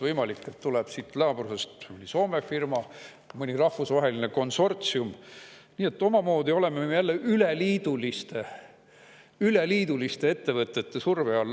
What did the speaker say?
Võimalik, et tuleb siit naabrusest Soome firma või mõni rahvusvaheline konsortsium, nii et omamoodi oleme jälle üleliiduliste ettevõtete surve all.